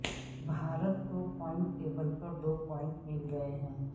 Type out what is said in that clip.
بھارت کو point table پر دو پوائنٹ مل گئے ہیں